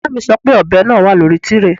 Ìyá mi sọ pé ọ̀bẹ náà wà lórí tíréè